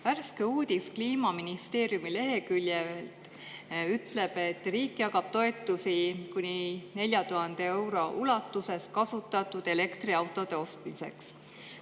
Värske uudis Kliimaministeeriumi leheküljel ütleb, et riik jagab kuni 4000 euro ulatuses toetusi kasutatud elektriautode ostmiseks.